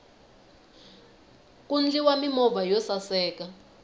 ku ndliwa mimovha yo saseka